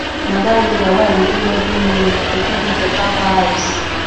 na dat yoga wey i dey do every morning dey give me beta vibes